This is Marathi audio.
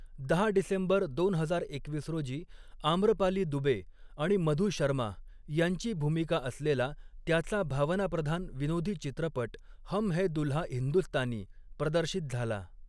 दहा डिसेंबर दोन हजार एकवीस रोजी, आम्रपाली दुबे आणि मधु शर्मा यांची भूमिका असलेला त्याचा भावनाप्रधान विनोदी चित्रपट हम हैं दुल्हा हिंदुस्तानी प्रदर्शित झाला.